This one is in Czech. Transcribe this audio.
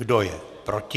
Kdo je proti?